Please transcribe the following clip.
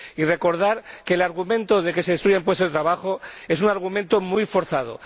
Y recordar que el argumento de que se destruyen puestos de trabajo es un argumento muy forzado.